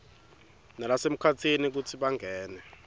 nalasemkhatsini kutsi bangene